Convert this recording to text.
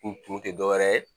U tun tɛ dɔwɛrɛ ye